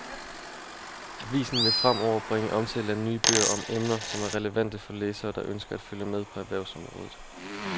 Avisen vil fremover bringe omtale af nye bøger om emner, som er relevante for læsere, der ønsker at følge med på erhvervsområdet.